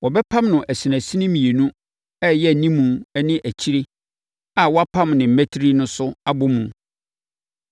Wɔbɛpam no asinasini mmienu a ɛyɛ animu ne akyire a wɔapam ne mmatire no so abɔ mu.